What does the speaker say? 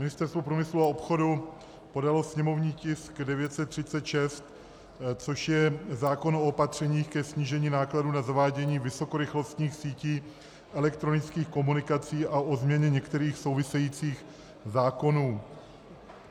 Ministerstvo průmyslu a obchodu podalo sněmovní tisk 936, což je zákon o opatřeních ke snížení nákladů na zavádění vysokorychlostních sítí elektronických komunikací a o změně některých souvisejících zákonů.